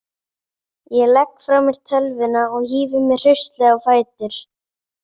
Ég legg frá mér tölvuna og hífi mig hraustlega á fætur.